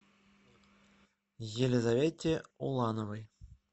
елизавете улановой